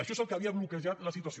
això és el que havia bloquejat la situació